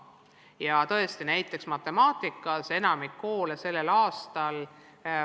Ja tõesti, näiteks matemaatikas osales sellel aastal enamik koole.